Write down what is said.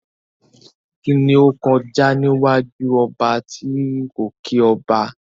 Kíni ó kọjá níwájú ọba tí kò kí ọba?